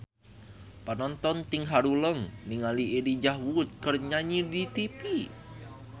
Panonton ting haruleng ningali Elijah Wood keur nyanyi di tipi